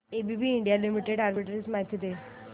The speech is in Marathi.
एबीबी इंडिया लिमिटेड आर्बिट्रेज माहिती दे